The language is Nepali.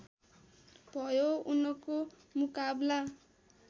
भयो उनको मुकाबला